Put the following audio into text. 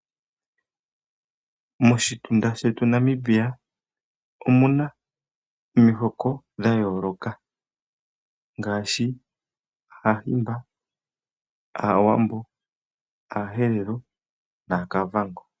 Moshitunda shetu Namibia omuna omihoko dha yooloka ngaashi Aahimba, Aawambo, Aaherero naaKavango.